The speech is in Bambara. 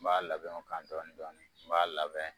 N b'a labɛnw ka kan dɔɔnin dɔɔnin n b'a labɛn